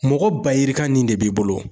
Mɔgɔ ba yirika nin de b'i bolo